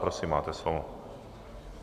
Prosím, máte slovo.